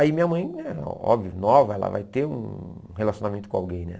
Aí minha mãe, óbvio, nova, ela vai ter um relacionamento com alguém, né?